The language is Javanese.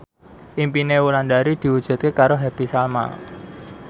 impine Wulandari diwujudke karo Happy Salma